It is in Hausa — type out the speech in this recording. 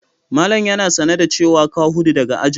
Malam yana sane da cewa ka hudu daga ajin?